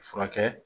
Furakɛ